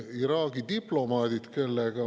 Iraagi diplomaadid …